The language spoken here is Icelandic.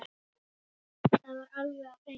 Það var alveg á hreinu!